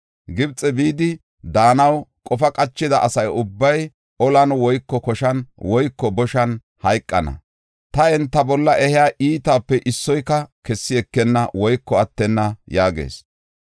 Gibxe bidi daanaw qofa qachida asa ubbay olan woyko koshan woyko boshan hayqana. Ta enta bolla ehiya iitaape issoyka kessi ekenna woyko attenna’ yaagees.